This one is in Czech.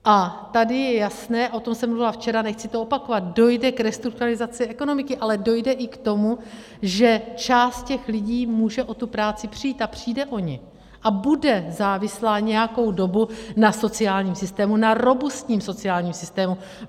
A tady je jasné, o tom jsem mluvila včera, nechci to opakovat, dojde k restrukturalizaci ekonomiky, ale dojde i k tomu, že část těch lidí může o tu práci přijít, a přijde o ni, a bude závislá nějakou dobu na sociálním systému, na robustním sociálním systému.